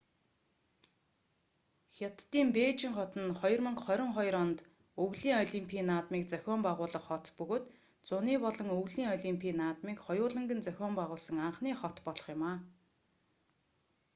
хятадын бээжин хот нь 2022 онд өвлийн олимпийн наадмыг зохион байгуулах хот бөгөөд зуны болон өвлийн олимпийн наадмыг хоёуланг нь зохион байгуулсан анхны хот болох юм